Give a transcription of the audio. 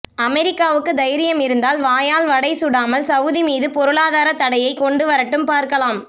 அமெரிக்காவுக்கு தைரியம் இருந்தால் வாயால் வடை சுடாமல் சவூதி மீது பொருளாதார தடையை கொண்டு வரட்டும் பார்க்கலாம்